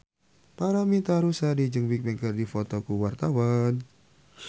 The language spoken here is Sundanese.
Paramitha Rusady jeung Bigbang keur dipoto ku wartawan